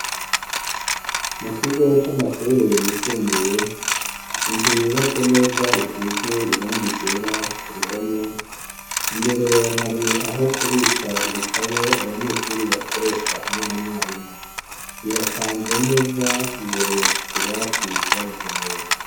Mu kigo c'amashure yisumbuye inzu yubatse neza isize iranga irera ku ruhome imbere hari aho kubika ibitabo abanyeshuri bakoresha hamwe na mwarimu birapanze neza imbere kutubati twabugenewe.